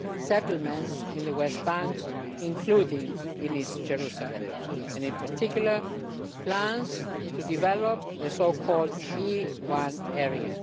settlements in the West Bank including in East Jerusalem and, in particular, plans to develop the so called E1 area.